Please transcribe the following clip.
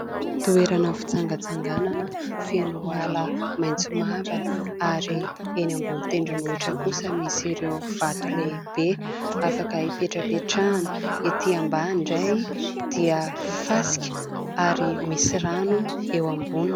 Toerana fitsangatsanganana feno ala maintso mavana, ary eny ambony tendrom_bohitra kosa misy ireo vato lehibe afaka hipetrapetrahana, ety ambany indray dia fasika ary misy rano eo amboniny.